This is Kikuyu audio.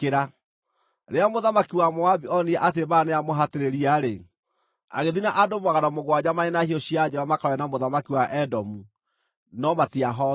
Rĩrĩa mũthamaki wa Moabi onire atĩ mbaara nĩyamũhatĩrĩria-rĩ, agĩthiĩ na andũ magana mũgwanja marĩ na hiũ cia njora makarũe na mũthamaki wa Edomu, no matiahotire.